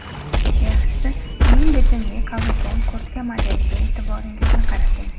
Yaxshisi keng bichimli qavilgan kurtka modeliga e’tiboringizni qarating.